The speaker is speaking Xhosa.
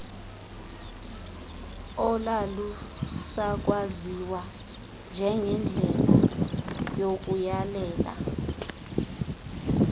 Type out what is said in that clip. olalusakwaziwa njengendlela yokuyalela